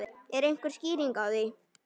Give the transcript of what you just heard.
Er einhver skýring á því?